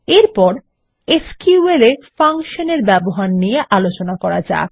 এরপর SQL এ function এর ব্যবহার নিয়ে আলোচনা করা যাক